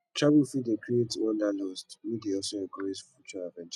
travel fit dey create wanderlust wey dey also encourage future adventures